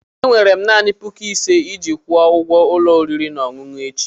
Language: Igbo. Enwere m naanị puku ise iji kwụọ ụgwọ ụlọ oriri na ọṅụṅụ echi.